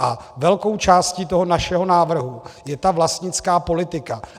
A velkou částí toho našeho návrhu je ta vlastnická politika.